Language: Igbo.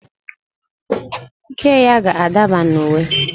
Iké ya ga-adaba na uwe